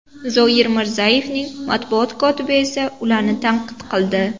Zoir Mirzayevning matbuot kotibi esa ularni tanqid qildi.